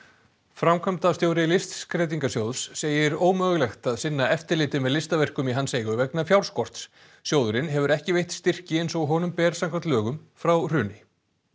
framkvæmdastjóri Listskreytingasjóðs segir ómögulegt að sinna eftirliti með listaverkum í hans eigu vegna fjárskorts sjóðurinn hefur ekki veitt styrki eins og honum ber samkvæmt lögum frá hruni